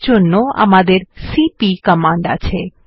এর জন্য আমাদের সিপি কমান্ড আছে